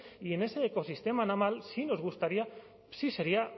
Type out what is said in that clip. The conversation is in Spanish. y en ese ecosistema naval sí nos gustaría sí sería